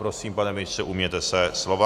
Prosím, pane ministře, ujměte se slova.